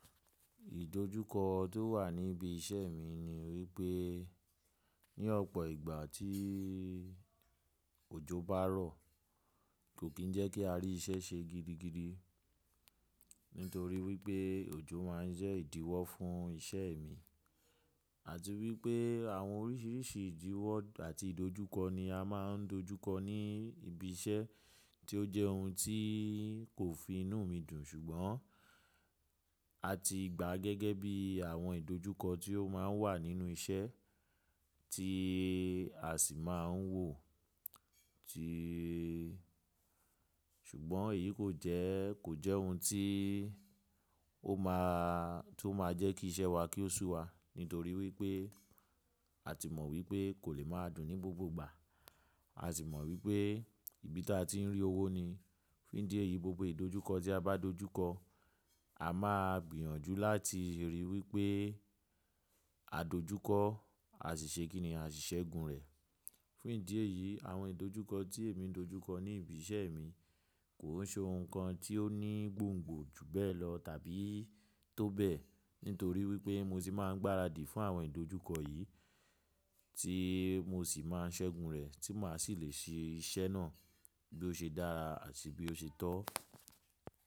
Ìdojúkọ tó wà níbi iṣẹ́ mi ni wípé ní ọ̀pọ̀ ìgbà tí òjò bá rọ̀ kò kí ń jẹ́ kí a rí iṣẹ́ ṣe gidigidi nítorí wípé òjò má ń jẹ́ ìdíwọ́ fún iṣẹ́ mi àti wípé àwọn oríṣiríṣi ìdíwọ́ àti ìdojúkọ ni a má ń dojúkọ ní ibi iṣẹ́ tí ó jẹ́ ohun tí kò fi inú mi dùn. Ṣùgbọ́n a ti gbàá gẹ́gẹ́ bí àwọn ìdojúkọ tí ó má ń wà nínú iṣẹ́ tí a sì má ń wò ó. Tíìì, ṣùgbọ́n èyí kò jẹ́, kò jẹ́ ohun tí ó má, tí ó máa jẹ́ kí iṣẹ́ wa kí ó sú wa nítorí wípé a ti mọ̀ wípé kò lè máa dùn ní gbogbo ìgbà. A sì mọ̀ wípé ibi tí a ti ń rí owó ni. Fún ìdí èyí, gbogbo ìdojúkọ tí a bá dojúkọ, a máa gbìyànjú láti ríi wípé àdojúkọ a sì ṣe kí ni a sì ṣẹ́gun rẹ̀. Fún ìdí èyí, àwọn ìdojúkọ tí èmi ń dojúkọ ní ibi iṣẹ́ mi kò ń ṣe ohun kan tí ó ní gbòngbò jù bẹ́ẹ̀ lọ tàbí tó bẹ́ẹ̀ nítorí wípé mo sì máa ń gbaradì fún àwọn ìdojúkọ yìí tí mo sì máa ń ṣẹ́gun rẹ̀ tí mà á sì lè ṣe iṣẹ́ náà bí ó ṣe dára àti bí ó ṣe tọ́.